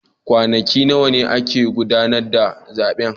Kwanaki nawa ne ake gudanar da zaben